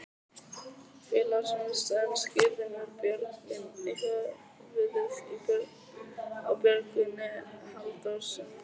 Félagsmiðstöðina skírðum við Björgvin í höfuðið á Björgvini Halldórssyni.